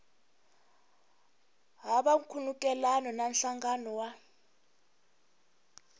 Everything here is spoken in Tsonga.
hava nkhulukelano na nhlangano wa